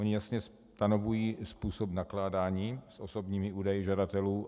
Oni (?) jasně stanovují způsob nakládání s osobními údaji žadatelů.